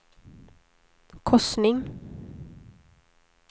korsning